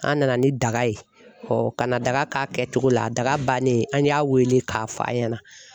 An nana ni daga ye ɔ ka na daga k'a kɛ cogo la daga bannen an y'a wele k'a f'a ɲɛna